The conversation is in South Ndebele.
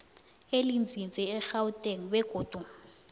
elinzinze egauteng begodu